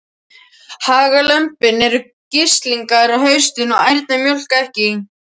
Hagalömbin eru grislingar á haustin og ærnar mjólka ekki.